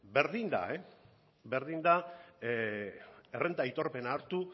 berdin da berdin da errenta aitorpena hartu